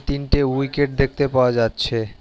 তিনটে উইকেট দেখতে পাওয়া যাচ্ছে।